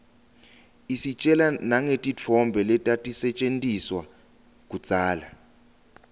istjela nangetintfo letatisetjentiswa kudzala